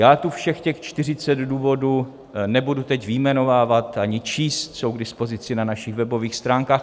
Já tu všech těch 40 důvodů nebudu teď vyjmenovávat ani číst, jsou k dispozici na našich webových stránkách.